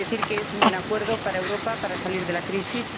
Se trata de un buen acuerdo para Europa, para salir de la crisis.